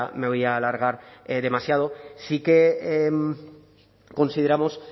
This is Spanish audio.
me voy a alargar demasiado sí que consideramos